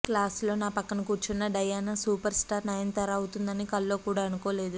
class లో నా ప్రక్కన కూర్చున్న డయానా సూపర్ స్టార్ నయనతార అవుతుందని కల్లోకూడా అనుకోలేదు